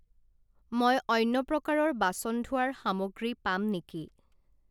মই অন্য প্ৰকাৰৰ বাচন ধোৱাৰ সামগ্ৰী পাম নেকি?